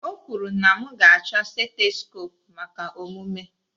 O kwuru na m ga-achọ setskope maka omume